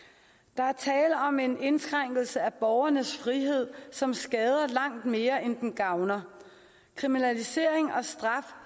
der er tale om en indskrænkelse af borgernes frihed som skader langt mere end den gavner kriminalisering og straf